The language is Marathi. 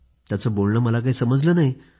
त्याचं बोलणं मला काही समजलं नाही